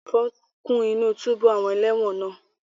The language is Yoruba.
Ẹ̀fọn kún inú túbú àwọn ẹlẹ́wọ̀n náà